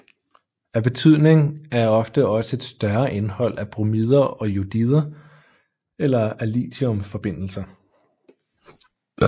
Af betydning er også ofte et større indhold af bromider og jodider eller af lithiumforbindelser